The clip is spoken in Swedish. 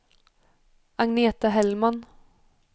Agneta Hellman